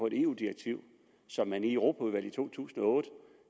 et eu direktiv som man i europaudvalget i to tusind og otte